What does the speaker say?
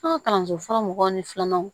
An ka kalanso fɔlɔ mɔgɔw ni filananw